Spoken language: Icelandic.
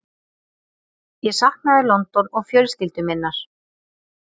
Ég saknaði London og fjölskyldu minnar.